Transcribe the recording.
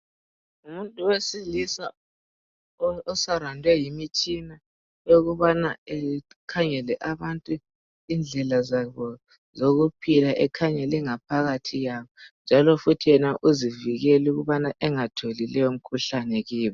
Ngumuntu wesilisa, oserawundwe yimitshina. Eyokubana akhangele abantu. Indlela zabo zokuphila. Ekhangele ingaphakathi yabo, njalo yena uzivikele, ukuthi engatholi leyomikhuhlane kiyo.